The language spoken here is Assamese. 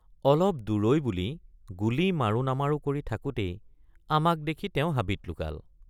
অলপ দূৰৈ বুলি গুলী মাৰো নামাৰো কৰি থাকোতেই আমাক দেখি তেওঁ হাবিত লুকাল।